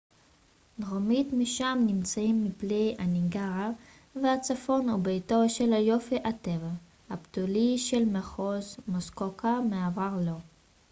דרומית משם נמצאים מפלי הניאגרה והצפון הוא ביתו של היופי הטבעי הבתולי של מחוז מוסקוקה ומעבר לו